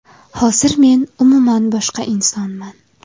Hozir men umuman boshqa insonman.